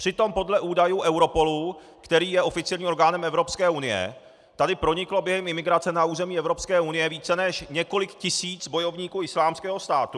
Přitom podle údajů Europolu, který je oficiálním orgánem Evropské unie, tady proniklo během imigrace na území Evropské unie více než několik tisíc bojovníků Islámského státu.